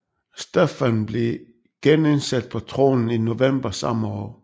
Stefan blev genindsat på tronen i november samme år